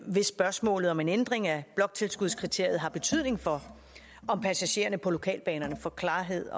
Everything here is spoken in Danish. hvis spørgsmålet om en ændring af bloktilskudskriteriet har betydning for om passagererne på lokalbanerne får klarhed